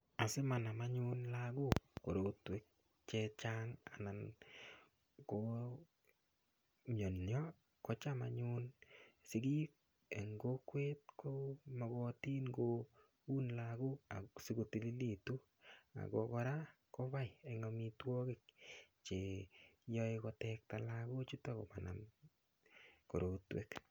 Asimanam anyun lakok korotwek chechang' anan komiyonyo kocham anyun sikik eng' kokwet ko mokotin koun lakok asikotilil ako kora kobai eng' omitwokik cheyoei kotekta lakochuto komanam korotwek